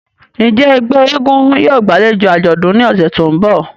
Njẹ ẹgbẹ èègún yóò gbalejo ajọdun ni ọsẹ to nbọ?